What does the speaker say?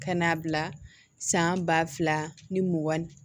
Ka n'a bila san ba fila ni mugan ni